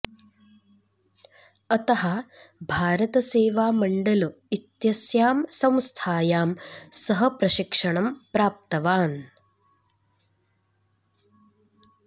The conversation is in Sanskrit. अतः भारत सेवा मण्डल इत्यस्यां संस्थायां सः प्रशिक्षणं प्राप्तवान्